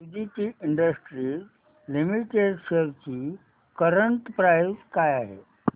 Suditi industries limited shares ची current price काय आहे